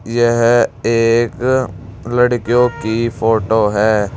यह एक लड़कियों की फोटो है।